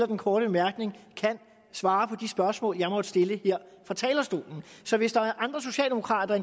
den korte bemærkning kan svare på de spørgsmål jeg måtte stille her fra talerstolen så hvis der er andre socialdemokrater